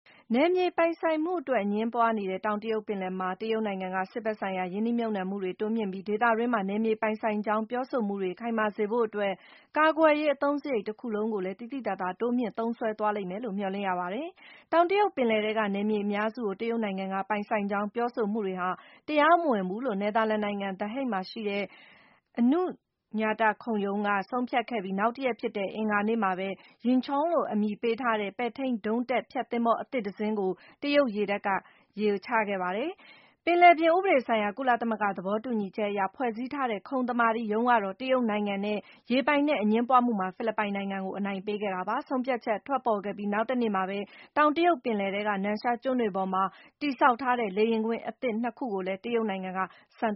နယ်မြေပိုင်ဆိုင်မှုအတွက် အငြင်းပွားနေတဲ့ တောင်တရုတ်ပင်လယ်မှာ တရုတ်နိုင်ငံက စစ်ဘက်ဆိုင်ရာ ရင်းနှီးမြှုပ်နံှမှုတွေ တိုးမြှင့်ပြီး၊ ဒေသတွင်းမှာ နယ်မြေ ပိုင်ဆိုင်ကြောင်း ပြောဆိုမှုတွေ ခိုင်မာစေဖို့အတွက် ကာကွယ်ရေး အသုံးစရိတ်တခုလုံးကိုလည်း သိသိသာသာ တိုးမြှင့်သုံးစွဲလိမ့်မယ်လို့ မျှော်လင့် ရပါတယ်။ တောင်တရုတ်ပင်လယ်ထဲက နယ်မြေအများစုကို တရုတ်နိုင်ငံက ပိုင်ဆိုင်ကြောင်း ပြောဆိုမှုတွေဟာ တရားမဝင်ဘူးလို့ နယ်သာလန်နိုင်ငံ The Hague မှာရှိတဲ့ ခုံရုံးက ဆုံးဖြတ်ခဲ့ပြီး နောက်တရက်ဖြစ်တဲ့ အင်္ဂါနေ့မှာပဲ Yinchuan လို့ အမည်ပေးထားတဲ့ ပဲ့ထိန်းဒုံးတပ် ဖျက်သင်္ဘော အသစ်တစင်းကို တရုတ်ရေတပ်က ရေချခဲ့ပါတယ်။ ပင်လယ်ပြင် ဥပဒေဆိုင်ရာ ကုလသမဂ္ဂ သဘောတူညီချက်အရ ဖွဲ့စည်းထားတဲ့ ခုံသမာဓိရုံးကတော့ တရုတ်နိုင်ငံနဲ့ ရေပိုင်နက် အငြင်းပွားမှုမှာ ဖိလစ်ပိုင်ကို အနိုင်ပေးခဲ့တာပါ။ ဆုံးဖြတ်ချက် ထွက်ပေါ်ခဲ့ပြီး နောက်တနေ့မှာပဲ တောင်တရုတ်ပင်လယ်ထဲက နန်ရှာကျွန်းတွေပေါ်မှာ တည်ဆောက်ထားတဲ့ လေယာဉ်ကွင်း အသစ် ၂ ခုကိုလည်း တရုတ်နိုင်ငံက စမ်